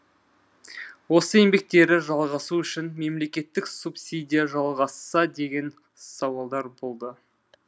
осы еңбектері жалғасу үшін мемлекеттік субсидия жалғасса деген сауалдар болды